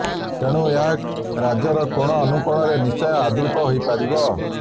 ତେଣୁ ଏହା ରାଜ୍ୟର କୋଣ ଅନୂକୋଣରେ ନିଶ୍ଚୟ ଆଦୃତ ହୋଇ ପାରିବ